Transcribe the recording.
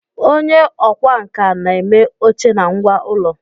Onye ọkwá nkà na-eme oche na ngwá ụlọ